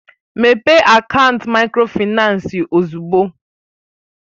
Mépee akaant Mikrofaịnsi ozugbo!